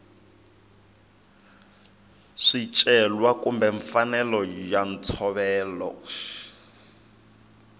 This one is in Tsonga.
swicelwa kumbe mfanelo ya ntshovelo